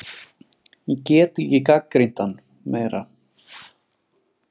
Ég get ekki gagnrýnt hann meira.